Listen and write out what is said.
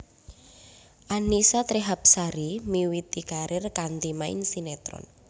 Annisa Trihapsari miwiti karir kanthi main sinetron